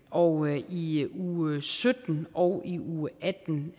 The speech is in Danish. og i uge sytten og i uge atten